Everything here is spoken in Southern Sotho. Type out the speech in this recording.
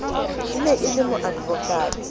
e ne e le moadvokate